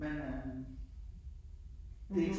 Men øh det ik sådan